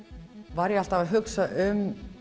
var ég alltaf að hugsa um